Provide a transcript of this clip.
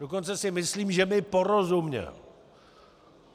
Dokonce si myslím, že mi porozuměl.